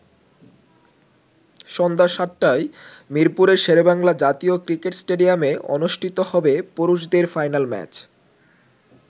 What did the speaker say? সন্ধ্যা ৭টায় মিরপুরের শেরেবাংলা জাতীয় ক্রিকেট স্টেডিয়ামে অনুষ্ঠিত হবে পুরুষদের ফাইনাল ম্যাচ।